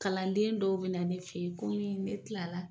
Kalanden dɔw be na ne fe ye komi ne kilala